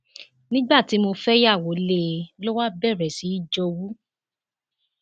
nígbà tí mo fẹyàwó lé e ló wáá bẹrẹ sí bẹrẹ sí í jowú